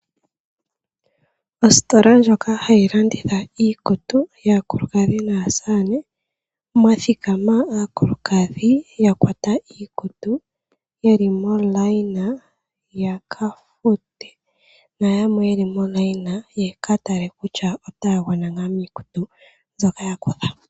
Ositola ndjoka hayi landitha iikutu yaakulukadhi naasamane, mwa thikama aakulukadhi ya kwata iikutu ye li momukweyo ya ka fute nayamwe ye li momukweyo ya ka tale ngele otaya gwana ngaa miikutu mbyoka ya kutha.